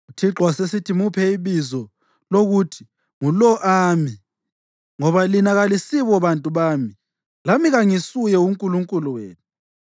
UThixo wasesithi, “Muphe ibizo lokuthi nguLo-Ami, ngoba lina kalisibo bantu bami, lami kangisuye uNkulunkulu wenu.